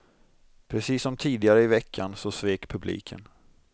Precis som tidigare i veckan så svek publiken.